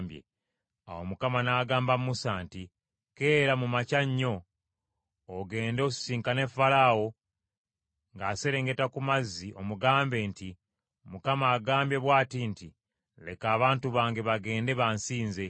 Awo Mukama n’agamba Musa nti, “Keera mu makya nnyo, ogende osisinkane Falaawo ng’aserengeta ku mazzi omugambe nti, ‘ Mukama agambye bw’ati nti, Leka abantu bange bagende, bansinze.